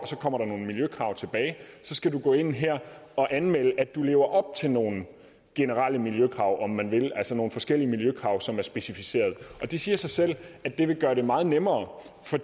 så kommer nogle miljøkrav tilbage skal du gå ind her og anmelde at du lever op til nogle miljøkrav om man vil altså nogle forskellige miljøkrav som er specificeret og det siger sig selv at det vil gøre det meget nemmere for